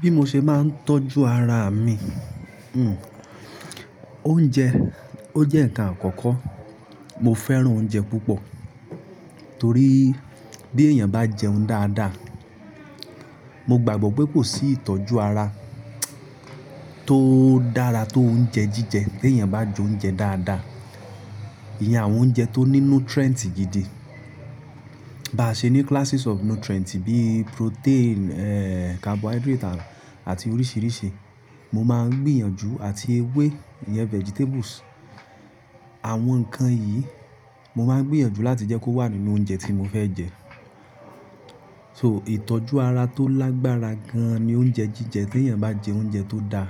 Bí mo ṣe máa ń tọ́jú ara mi. Oúnjẹ, ó jẹ́ ǹkan àkọ́kọ́. Mo fẹ́ràn oúnjẹ púpọ̀ torí bí èèyàn bá jẹun dáadáa, mo gbàgbọ́ pé kò sí ìtọ́jú ara tó dára tó oúnjẹ jíjẹ. Bí èèyàn bá jẹ oúnjẹ dáadáa, iye àwọn oúnjẹ tó ní nutrient gidi bá ṣe ní classes of nutrient bíi protein, carbohydrate àti oríṣìíríṣìí. Mo máa ń gbìyànjú àti ewé, iyen vegetables. Àwọn ǹkan yìí mo máa ń gbìyànjú láti jẹ́ kó wà nínú oúnjẹ tí mo fẹ́ jẹ. So ìtọ́jú ara tó lágbára gan-an ni oúnjẹ jíjẹ. Bí èèyàn bá jẹ oúnjẹ tó da.